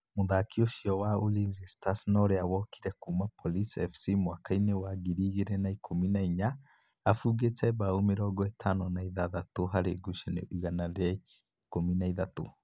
Mũtharikiri ucio wa Ulinzi Stars na ũrĩa wokire kuma Police FC mwaka-inĩ wa ngiri igĩrĩ na ikũmi na inya, abungĩte mbao mĩrongo ĩtano na ithathatũ harĩ ngucanio igana rĩa ikũmi na ithatũ.